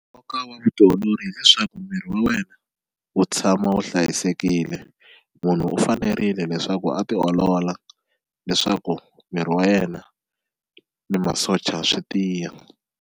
Nkoka wa vutiolori hileswaku miri wa wena wu tshama wu hlayisekile munhu u fanerile leswaku a ti olola leswaku miri wa yena na masocha swi tiya.